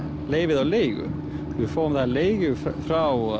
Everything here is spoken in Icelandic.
leyfið á leigu við fáum það á leigu frá